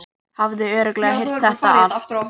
Hafði örugglega heyrt þetta allt.